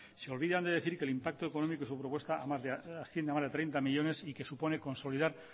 se olvidan de decir que el impacto económico de su propuesta asciende a más de treinta millónes y que supone consolidar